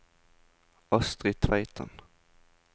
Astri Tveiten